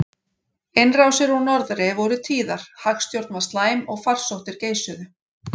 Innrásir úr norðri voru tíðar, hagstjórn var slæm og farsóttir geisuðu.